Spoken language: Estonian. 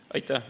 Aitäh!